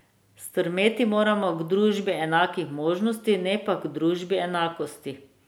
Stremeti moramo k družbi enakih možnosti, ne pa k družbi enakosti.